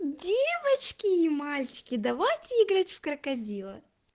девочки и мальчики давайте играть в крокодила